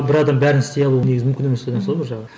бір адам бәріне істей алу негізі мүмкін емес деген сол ғой бір жағы